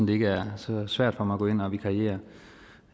det ikke er så svært for mig at gå ind og vikariere